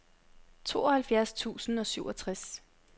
tooghalvfjerds tusind og syvogtres